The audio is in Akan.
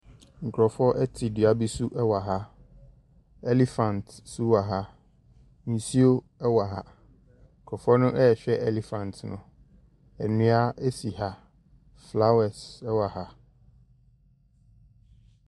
Nkurɔfoɔ te dua bi so wɔ ha. Elephant nso wɔ ha. Nsuo wɔ ha. Nkurɔfoɔ no rehwɛ elephant no. Nnua si ha. Flowers wɔ ha.